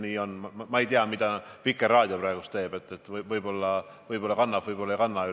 Ma ei tea, mida Vikerraadio praegu teeb, võib-olla kannab siin toimuvat üle, võib-olla ei kanna.